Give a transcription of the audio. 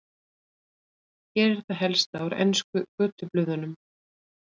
Hér er það helsta úr ensku götublöðunum.